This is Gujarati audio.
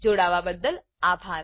જોડાવાબદ્દલ આભાર